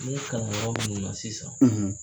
n bɛ kalanyɔrɔ minnu na sisan